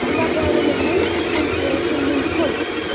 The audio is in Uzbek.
Ulardan yana nimani ham so‘rashim mumkin?